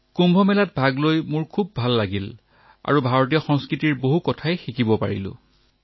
কুম্ভ মেলালৈ আহি মোৰ খুব ভাল লাগিল আৰু ভাৰতীয় সংস্কৃতিৰ পৰা বহুত কথা শিকিবলৈ পালো